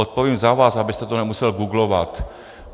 Odpovím za vás, abyste to nemusel googlovat.